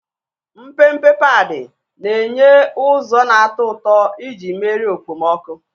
Mpempe padi na-enye ụzọ na-atọ ụtọ iji merie okpomọkụ.